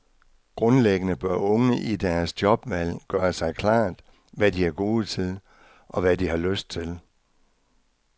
Grundlæggende bør unge i deres jobvalg gøre sig klart, hvad de er gode til, og hvad de har lyst til.